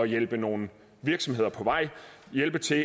hjælpe nogle virksomheder på vej og hjælpe til